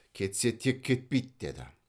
кетсе тек кетпейді деді